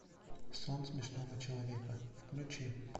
сон смешного человека включи